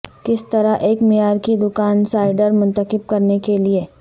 کس طرح ایک معیار کی دکان سائڈر منتخب کرنے کے لئے